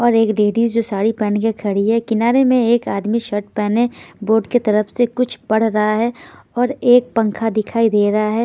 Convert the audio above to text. और एक लेडीज जो साड़ी पेहेन के खड़ी है किनारे में एक आदमी शर्ट पेहने बोर्ड के तरफ से कुछ पढ़ रहा है और एक पंखा दिखाई दे रहा है।